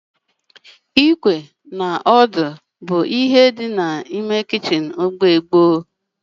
Ịkwé na aka odo bụ otu n'ime arịa kichin kacha ochie